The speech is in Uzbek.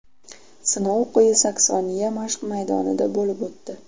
Sinov Quyi Saksoniya mashq maydonida bo‘lib o‘tdi.